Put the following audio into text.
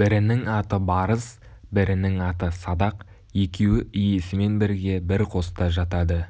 бірінің аты барыс бірінің аты садақ екеуі иесімен бірге бір қоста жатады